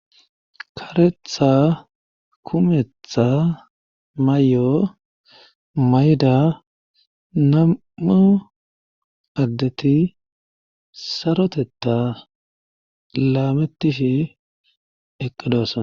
karetha kumetha mayo mayida na7u addeti sarotetta laametishi eqqidasa